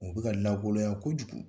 U bɛka lankolonya kojugu.